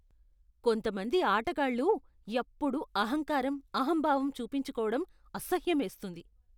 కొంతమంది ఆటగాళ్ళు ఎప్పుడూ అహంకారం, అహంభావం చూపించుకోవడం అసహ్యమేస్తుంది.